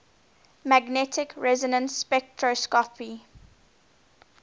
magnetic resonance spectroscopy